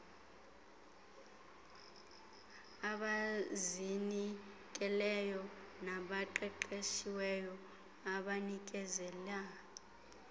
abazinikeleyo nabaqeqeshiweyo abanikezela